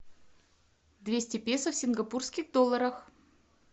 двести песо в сингапурских долларах